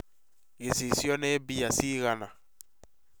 Gĩcicio nĩ mbĩa cigana?